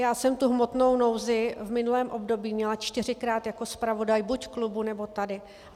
Já jsem tu hmotnou nouzi v minulém období měla čtyřikrát jako zpravodaj buď v klubu, nebo tady.